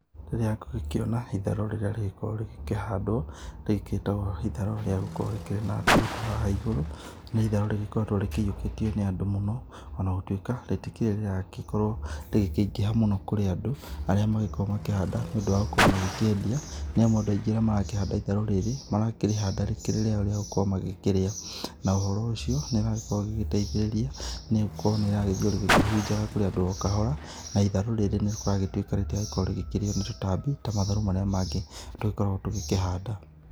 Rĩrĩa ngũgĩkĩona itharũ rĩrĩa rĩgĩkoragwo rĩgĩkĩhandwo rĩkĩtwo itharũ rĩagũkorwo rĩkĩrĩ na ndutu haha igũrũ nĩ itharũ rĩgĩkoretwo rĩkĩiyũkĩtio nĩ andũ mũno. Ona gũtuĩka rĩtikĩrĩ rĩragĩkorwo rĩgikĩingĩha mũno kũrĩ andũ arĩa magĩkoragwo makĩhanda nĩ ũndũ wa gũkorwo rĩkĩendia. Nĩ amu andũ aingĩ arĩa maragĩkorwo magĩkĩhanda itharũ rĩrĩ marakĩrĩhanda rĩkĩrĩ rĩa gũkorwo magĩkĩrĩa. Na ũhoro ũcio nĩ ũrakorwo ũkĩrĩ wa gũteithĩrĩria nĩ gũkorwo nĩrĩragĩthiĩ rĩkĩhunjaga kũrĩ andũ o kahora. Na itharu rĩrĩ nĩ kũratuĩka rĩtirakorwo rĩkĩrĩo nĩ tũtambi ta matharũ marĩa mangĩ tũgĩkoragwo tũgĩkĩhanda.